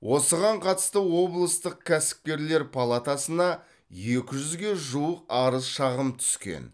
осыған қатысты облыстың кәсіпкерлер палатасына екі жүзге жуық арыз шағым түскен